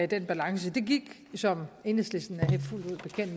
den balance det gik som enhedslisten